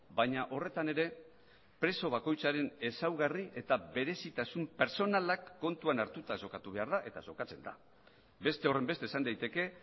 baina horretan ere preso bakoitzaren ezaugarri eta berezitasun pertsonalak kontuan hartuta jokatu behar da eta jokatzen da beste horrenbeste esan daiteke